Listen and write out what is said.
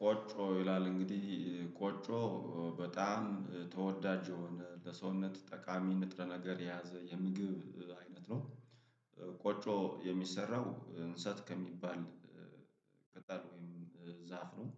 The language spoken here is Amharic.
ቆጮ ይላል እንግዲህ ቆጮ በጣም ተወዳጅ የሆነ ለሰውነት ጠቃሚ ንጥረ ነገር የያዘ የምግብ አይነት ነው። ቆጮ የሚሰራው እንሰት ከሚባል ቅጠል ወይም ዛፍ ነው።